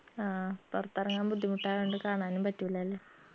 ആ പൊറത്തെറങ്ങാൻ ബുദ്ധിമുട്ടായോണ്ട് കാണാനും പറ്റൂലാലേ